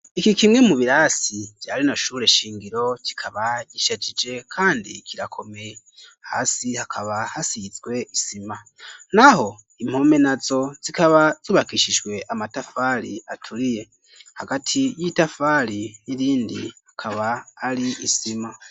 Iki kimwe mu birasi vyari na shure shingiro kikaba gishajije kandi kirakome hasi hakaba hasiyizwe isima n'aho impome na zo zikaba zubakishijwe amatafari aturiye hagati y'itafari n'irindi akaba ari isima.